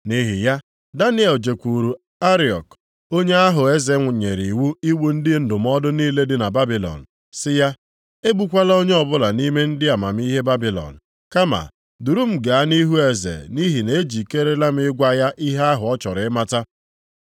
Nʼihi ya, Daniel jekwuru Ariok, onye ahụ eze nyere iwu igbu ndị ndụmọdụ niile dị na Babilọn, sị ya, “Egbukwala onye ọbụla nʼime ndị amamihe Babilọn. Kama duru m gaa nʼihu eze nʼihi na ejikeere m ịgwa ya ihe ahụ ọ chọrọ ịmata.”